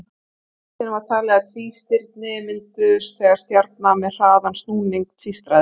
Eitt sinn var talið að tvístirni mynduðust þegar stjarna með hraðan snúning tvístraðist.